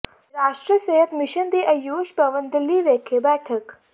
ਰਾਸ਼ਟਰੀ ਸਿਹਤ ਮਿਸ਼ਨ ਦੀ ਆਯੂਸ਼ ਭਵਨ ਦਿੱਲੀ ਵਿਖੇ ਬੈਠਕ